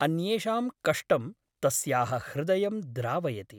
अन्येषां कष्टं तस्याः हृदयं द्रावयति ।